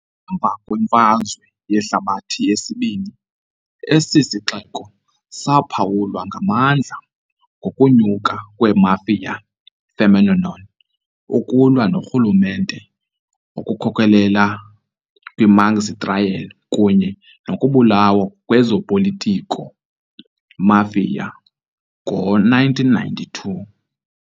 Emva kweMfazwe Yehlabathi yesiBini esi sixeko saphawulwa ngamandla ngokunyuka kwe- mafia phenomenon, ukulwa noRhulumente okukhokelela kwi- Maxi Trial kunye nokubulawa kwezopolitiko-mafia kwi-1992.